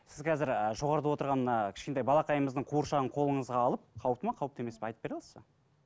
сіз қазір і жоғарыда отырған мына кішкентай балақайымыздың қуыршағын қолыңызға алып қауіпті ме қауіпті емес пе айтып бере аласыз ба